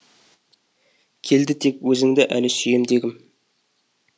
келді тек өзіңді әлі сүйем дегім